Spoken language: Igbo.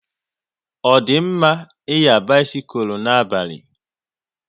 Ọ di mma ịnya bisikul n'abalị?